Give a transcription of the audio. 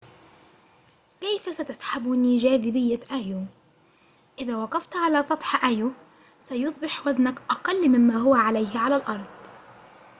كيف ستسحبني جاذبية أيو إذا وقفت على سطح أيو سيصبح وزنك أقل مما هو عليه على الأرض